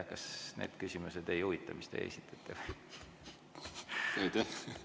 Kas neid need küsimused ei huvita, mida teie esitate?